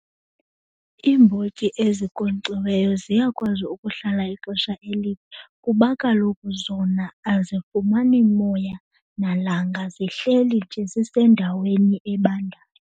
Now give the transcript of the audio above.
Iimbotyi ezinkonkxiweyo ziyakwazi ukuhlala ixesha elide kuba kaloku zona azifumani moya nalanga, zihleli nje zisendaweni ebandayo.